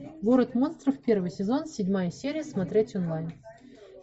город монстров первый сезон седьмая серия смотреть онлайн